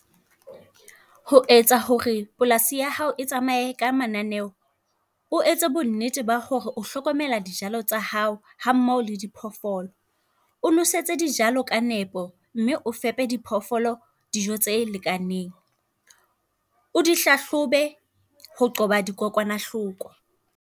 Ho etsa hore polasi ya hao e tsamaye ka mananeo, o etse bonnete ba hore o hlokomela dijalo tsa hao ha mmoho le di phoofolo. O nwesetse dijalo ka nepo mme o fepe diphoofolo dijo tse lekaneng. O dihlahlobe ho qoba dikokwanahloko.